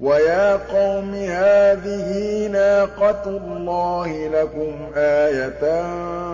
وَيَا قَوْمِ هَٰذِهِ نَاقَةُ اللَّهِ لَكُمْ آيَةً